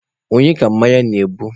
Onye ka mmanya na-egbu?